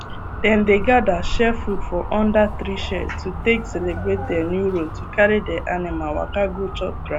dem dey gather share food for under tree shade to take celebrate dia new road to carry dia animal waka go chop grass